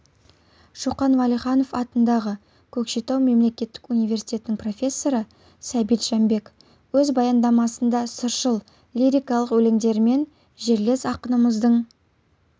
шоқан уәлиханов атындағы көкшетау мемлекеттік университетінің профессоры сәбит жәмбек өз баяндамасында сыршыл лирикалық өлеңдерімен жерлес ақынымыздың